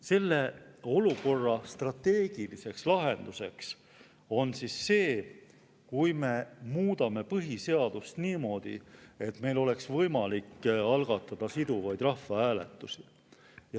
Selle olukorra strateegiliseks lahenduseks on see, kui me muudame põhiseadust niimoodi, et meil oleks võimalik algatada siduvaid rahvahääletusi.